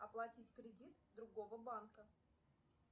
оплатить кредит другого банка